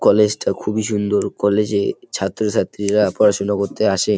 College -টা খুবই সুন্দর। কলেজ -এ ছাত্র ছাত্রীরা পড়াশোনা করতে আসে।